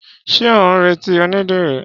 Ṣé ó ń retí onídìrí?